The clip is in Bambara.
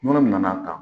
Munnu nana ta